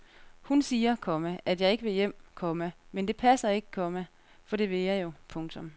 Hun siger, komma at jeg ikke vil hjem, komma men det passer ikke, komma for det vil jeg jo. punktum